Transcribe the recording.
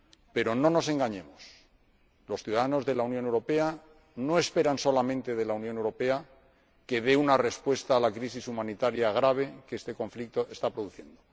Pero no nos engañemos. Los ciudadanos de la Unión Europea no esperan solamente de la Unión Europea que dé una respuesta a la crisis humanitaria grave que este conflicto está produciendo.